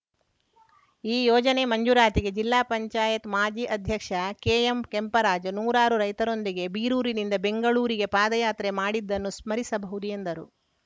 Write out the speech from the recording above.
ಈ ಯೋಜನೆ ಮಂಜೂರಾತಿಗೆ ಜಿಲ್ಲಾ ಪಂಚಾಯತ್ ಮಾಜಿ ಅಧ್ಯಕ್ಷ ಕೆಎಂ ಕೆಂಪರಾಜ್‌ ನೂರಾರು ರೈತರೊಂದಿಗೆ ಬೀರೂರಿನಿಂದ ಬೆಂಗಳೂರುವರೆಗೆ ಪಾದಯಾತ್ರೆ ಮಾಡಿದ್ದನ್ನು ಸ್ಮರಿಸಬಹುದು ಎಂದರು